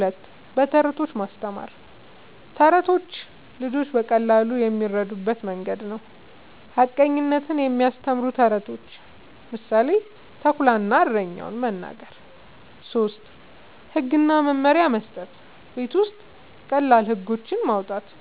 ፪. በተረቶች ማስተማር፦ ተረቶች ልጆች በቀላሉ የሚረዱበት መንገድ ነዉ። ሐቀኝነትን የሚያስተምሩ ተረቶችን (ምሳሌ፦ “ተኩላ እና እረኛው”) መናገር። ፫. ህግ እና መመሪያ መስጠት፦ ቤት ውስጥ ቀላል ህጎች ማዉጣት፣